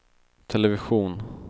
television